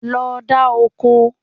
Lọ dá oko.